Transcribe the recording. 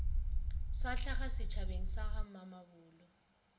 sa hlaga setšhabeng sa gamamabolo